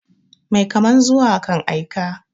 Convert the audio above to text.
Mai kaman zuwa kan aika.